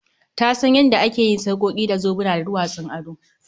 Ta san yanda ake yin sarƙoki da zobuna da duwatsun ado